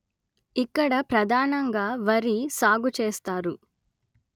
ఇక్కడ ప్రధానంగా వరి సాగు చేస్తారు